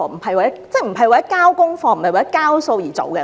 政府不應為了交功課或"交數"而做事。